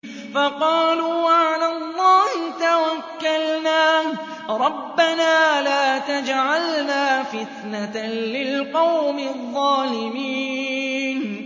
فَقَالُوا عَلَى اللَّهِ تَوَكَّلْنَا رَبَّنَا لَا تَجْعَلْنَا فِتْنَةً لِّلْقَوْمِ الظَّالِمِينَ